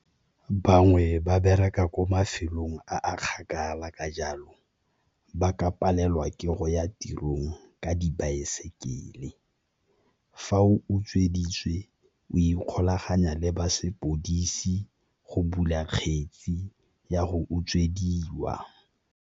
Bangwe ba bereka ko mafelong a a kgakala ka jalo ba ka palelwa ke go ya tirong ka dibaesekele, fa o utsweditswe o ikgolaganya le ba sepodisi go bula kgetsi ya go utswediwa.